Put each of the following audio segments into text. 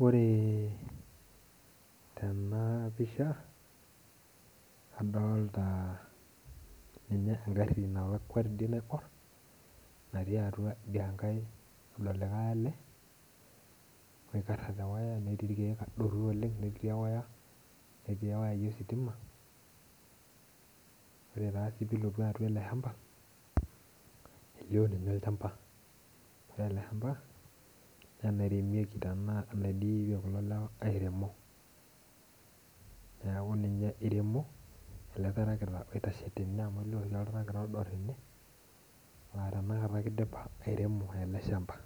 Ore tena pisha adolta ninye engarri nalakua naiborr natii atua lido likae ale oikarra tewaya netii irkeek adoru oleng' entii ewaya netii wayai ositima ore taa sii pee ilotu atua ele shamba elio ninye olchamba ore ele shamba enaidipie naa ilewa airemo neeku ninye iremo ele tarakita oitashe tene amu elioo siinye oltarakita odo tene laa tanakata ake idipa airemo ele shamba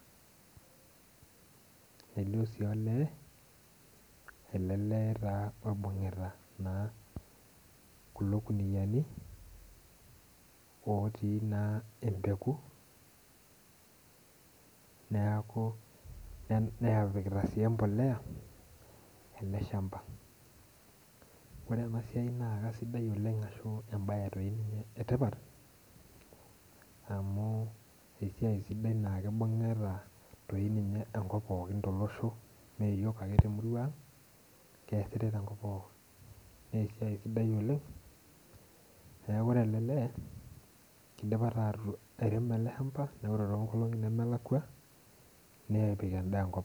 nelioo